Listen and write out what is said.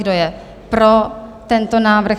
Kdo je pro tento návrh?